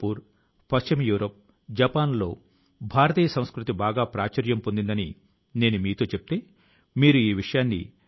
ప్రియమైన నా దేశవాసులారా మీ అందరి నుండి 2022వ సంవత్సరం తో ముడిపడ్డ చాలా సందేశాలు సూచన లు వచ్చాయి